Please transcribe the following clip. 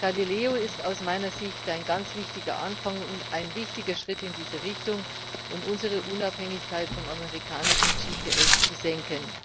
Galileo ist aus meiner Sicht ein ganz wichtiger Anfang und ein wichtiger Schritt in diese Richtung, um unsere Unabhängigkeit vom amerikanischen GPS zu senken.